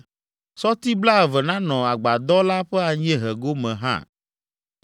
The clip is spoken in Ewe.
Sɔti blaeve nanɔ agbadɔ la ƒe anyiehe gome hã.